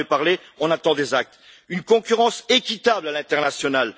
Vous en avez parlé, nous attendons des actes. Ensuite, une concurrence équitable à l'international.